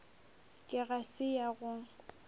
ke ga se ya go